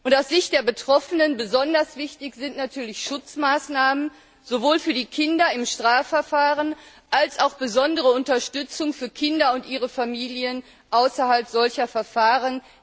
Aus Sicht der Betroffenen besonders wichtig sind natürlich Schutzmaßnahmen, sowohl für die Kinder im Strafverfahren als auch besondere Unterstützung für Kinder und ihre Familien außerhalb solcher Verfahren.